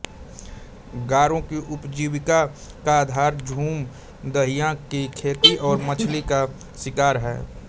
गारो की उपजीविका का आधार झूम दहिया की खेती और मछली का शिकार है